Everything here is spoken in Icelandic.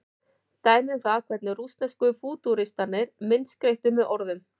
dæmi um það hvernig rússnesku fútúristarnir myndskreyttu með orðum